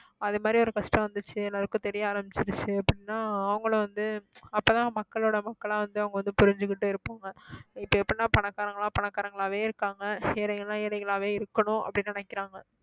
அது மாதிரி ஒரு கஷ்டம் வந்துச்சு எல்லாருக்கும் தெரிய ஆரம்பிச்சிருச்சு அப்படின்னா அவங்களும் வந்து அப்பதான் மக்களோட மக்களா வந்து அவங்க வந்து புரிஞ்சுகிட்டு இருப்பாங்க இப்ப எப்படின்னா பணக்காரங்க எல்லாம் பணக்காரங்களாவே இருக்காங்க ஏழைங்க எல்லாம் ஏழைகளாவே இருக்கணும் அப்படின்னு நினைக்கிறாங்க